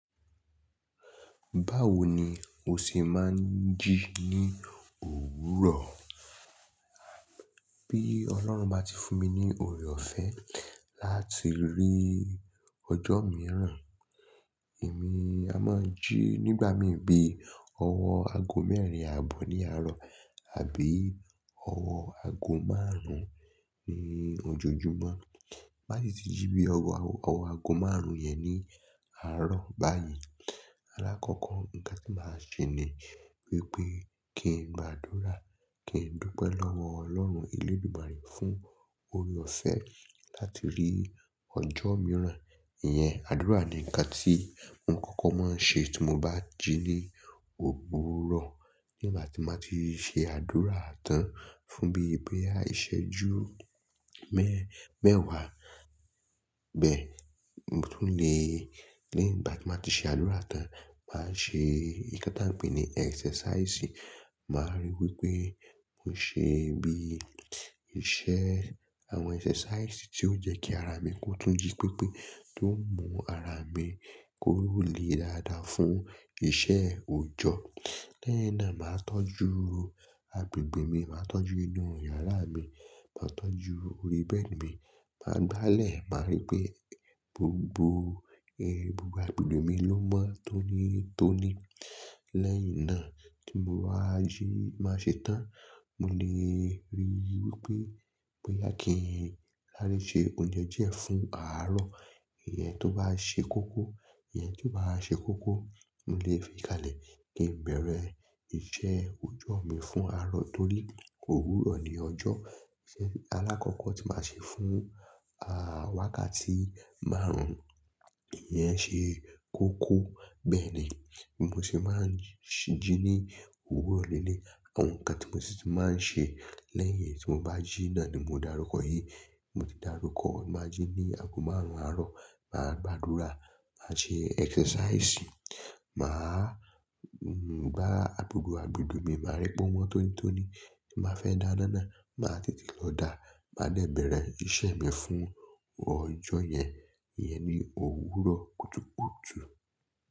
Báwo ni o ṣe máa ń jí ní òwúrọ̀? Bí Ọlọ́run bá ti fún mi ní oore-ọ̀fẹ́ láti rí ọjọ́ mìíràn, èmi a máa jí nígbà mí bí ọwọ́ ago mẹ́rin àbọ̀ ní àárọ̀ àbí ọwọ́ ago márùn-ún ní ọjọ́ Jùmọ̀. Bá ti jí bí ọwọ́ ago márùn-ún yẹn ní àárọ̀ báyìí, alákọ́kọ́ nǹkan tí màá ṣe ni wípé kí n gbáa dúró, kí n dúpẹ́ lọ́wọ́ Ọlọ́run Elédùmarè fún oore-ọ̀fẹ́ láti rí ọjọ́ mìíràn. Ìyẹn àdúrà ni nǹkan tí mo kókó máa ń ṣe tí mo bá jí ní òwúrọ̀. Nígbà tí màá ti ṣe àdúrà tán fún bí i boya ìṣẹ́ ju mẹ́ mẹ́wàá bẹ́ẹ̀, mo tún lè lẹyin gbà tí màá ti ṣe àdúrà tán, màá ṣe nǹkan tí a ń pè ní exercise. Màá rí wípé mo ṣe bí iṣẹ́ àwọn exercise tí ó jẹ́ kí ara mi kó tún jí pípé tó ń mú ara mi koró le dáadáa fún iṣẹ́ òjọ́. Lẹ́yin náà màá tọ́jú agbègbè mi, màá tọ́jú inú yàrá mi, màá tọ́jú orí bẹ́ẹ̀dì mi, màá gbálẹ̀, màá rí pé gbogbo gbogbo agbègbè mi ló mọ́ tónítóní. Lẹ́yìn náà tí mo bá jí, màá ṣe tán. Mo lè rí i wípé bóyá kí n sare ṣe oúnjẹ díẹ̀ fún àárọ̀. Ìyẹn tó bá ṣe koko, ìyẹn ti o bá wa ṣe koko, mo lè fi kalẹ̀ kí n bẹ̀rẹ̀ iṣẹ́ òjọ́ mi fún àárọ̀ torí òwúrọ̀ ni ọjọ́. Alákọ́kọ́ tí màá ṣe fún àwákàtí márùn-ún, ìyẹn ṣe koko. Bẹ́ẹ̀ ni bi mo se máa ń jí ní òwúrọ̀ lelei. Àwọn nǹkan tí mo sì tun máa ń ṣe lẹ́yìn tí mo bá jí náà ni mo darúkọ yìí. Mo ti darúkọ máa jí ní ago márùn-ún àárọ̀, màá gba àdúrà, màá ṣe exercise, màá gbá agbègbè agbègbè mi, màá rí pé wọ́n tónítóní, màá fẹ́ dáa dáná, màá tètè lọ dá, màá dẹ bẹ̀rẹ̀ iṣẹ́ mi fún ọjọ́ yẹn. Ìyẹn ni òwúrọ̀ kùtùkùtù.